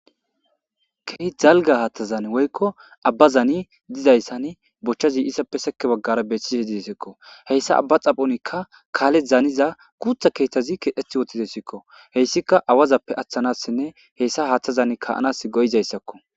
Keehi dalga haaththazan woykko abba zaani dizayssan bochchazi issappe seke baggara beethise didesikko heyssa abba xaphonikka kaale zaaniza kuutha keethazi kedheti wotidesikko heyssika awazappe aththanassinne hessa haaththazan kaanas goyizayssakko.